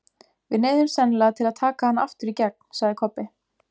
Við neyðumst sennilega til að taka hann aftur í gegn, sagði Kobbi.